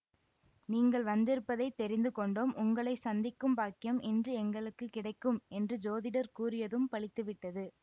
நீங்கள் வந்திருப்பதைத் தெரிந்து கொண்டோ ம் உங்களை சந்திக்கும் பாக்கியம் இன்று எங்களுக்கு கிடைக்கும் என்று ஜோதிடர் கூறியதும் பலித்து விட்டது